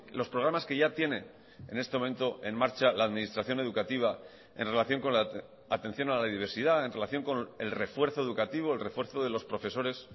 los programas que ya tiene en este momento en marcha la administración educativa en relación con la atención a la diversidad en relación con el refuerzo educativo el refuerzo de los profesores